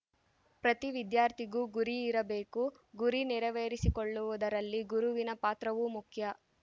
ಪ್ರತಿ ವಿದ್ಯಾರ್ಥಿಗೂ ಗುರಿ ಇರಬೇಕು ಗುರಿ ನೆರವೇರಿಸಿಕೊಳ್ಳುವುದರಲ್ಲಿ ಗುರುವಿನ ಪಾತ್ರವೂ ಮುಖ್ಯ